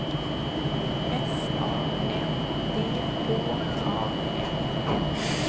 S A N D H A M N